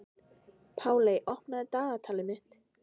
Páley, opnaðu dagatalið mitt.